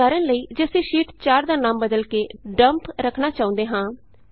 ਉਦਾਹਰਣ ਲਈ ਜੇ ਅਸੀਂ ਸ਼ੀਟ 4 ਦਾ ਨਾਮ ਬਦਲ ਕੇ ਡੱਮਪ ਡੰਪ ਰੱਖਣਾ ਚਾਹੁੰਦੇ ਹਾਂ